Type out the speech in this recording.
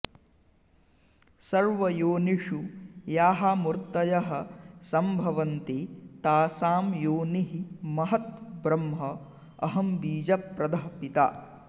सर्वयोनिषु याः मूर्तयः सम्भवन्ति तासां योनिः महत् ब्रह्म अहं बीजप्रदः पिता